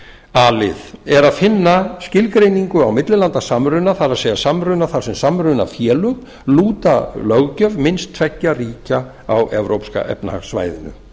a lið er að finna skilgreiningu á millilandasamruna það er samruna þar sem samrunafélög lúta löggjöf minnst tveggja ríkja á evrópska efnahagssvæðinu